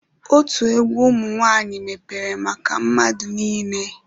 Otu egwu ụmụ nwaanyị mepere maka mmadụ niile.